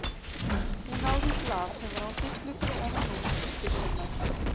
Hún náði í blað sem var á hillu fyrir ofan rúm systur sinnar.